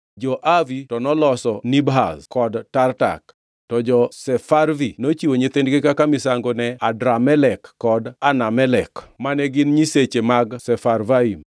Jo-Avi to noloso Nibhaz kod Tartak, to jo-Sefarvi nochiwo nyithindgi kaka misango ne Adramelek kod Anamelek mane gin nyiseche mag Sefarvaim.